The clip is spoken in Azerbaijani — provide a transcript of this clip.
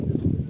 Yaxşı, yaxşı.